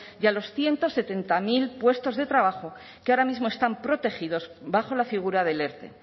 y a los ciento setenta mil puestos de trabajo que ahora mismo están protegidos bajo la figura del erte